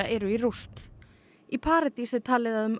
eru í rúst í paradís er talið að um